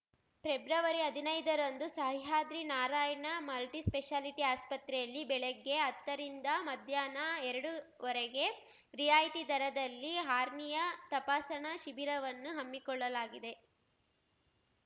February ಹದಿನೈದರಂದು Sahyadri Narayana multispeciality ಆಸ್ಪತ್ರೆಯಲ್ಲಿ ಬೆಳಗ್ಗೆ ಹತ್ತರಿಂದ ಮಧ್ಯಾಹ್ನ ಎರಡು ರವರೆಗೆ ರಿಯಾಯಿತಿ ದರದಲ್ಲಿ ಹಾರ್ನಿಯಾ ತಪಾಸಣ ಶಿಬಿರವನ್ನು ಹಮ್ಮಿಕೊಳ್ಳಲಾಗಿದೆ